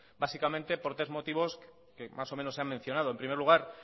básicamente por tres motivos que más o menos se han mencionado en primer lugar